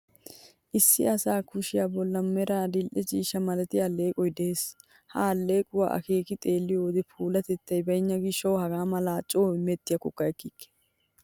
Issi asa kushiyaa bollan meray adil''e ciishsha malatiyaa alleeqoy de'ees. Ha alleequwa akeeki xeelliyo wode puulatettay baynna gishshawu hagaa malay coo imettiyaakkokka ekkikke.